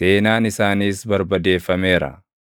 seenaan isaaniis barbadeeffameera.